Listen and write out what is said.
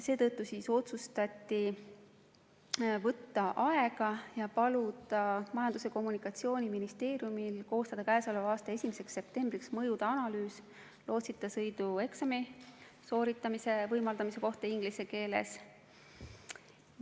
Seetõttu otsustati võtta aega ja paluda Majandus- ja Kommunikatsiooniministeeriumil koostada käesoleva aasta 1. septembriks mõjude analüüs, kui lootsita sõidu eksami saaks sooritada inglise keeles.